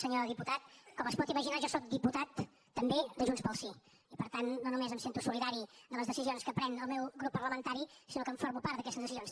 senyor diputat com es pot imaginar jo sóc diputat també de junts pel sí i per tant no només em sento solidari amb les decisions que pren el meu grup parlamentari sinó que en formo part d’aquestes decisions